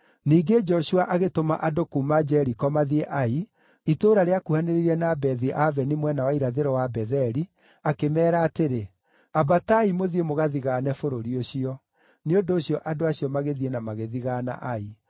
Ningĩ Joshua agĩtũma andũ kuuma Jeriko mathiĩ Ai, itũũra rĩakuhanĩrĩirie na Bethi-Aveni mwena wa irathĩro wa Betheli, akĩmeera atĩrĩ, “Ambatai mũthiĩ mũgathigaane bũrũri ũcio.” Nĩ ũndũ ũcio andũ acio magĩthiĩ na magĩthigaana Ai.